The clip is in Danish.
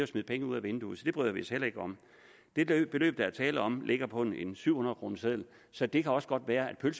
smide penge ud af vinduet så det bryder vi os heller ikke om det beløb der er tale om ligger på en syv hundrede kroners seddel så det kan også godt være at